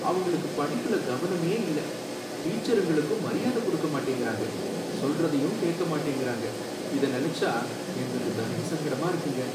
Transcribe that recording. அவங்களுக்கு படிப்புல கவனமே இல்ல, டீச்சருங்களுக்கும் மரியாதை குடுக்க மாட்டேங்கிறாங்க, சொல்றதையும் கேட்க மாட்டேங்கிறாங்க, இதை நினைச்சா எங்களுக்கு தர்ம சங்கடமா இருக்குங்க.